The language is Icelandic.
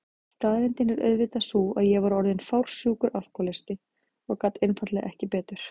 Staðreyndin er auðvitað sú að ég var orðin fársjúkur alkohólisti og gat einfaldlega ekki betur.